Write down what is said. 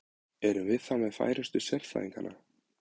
Erum við þá með færustu sérfræðingana?